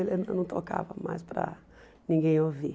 Ela não tocava mais para ninguém ouvir.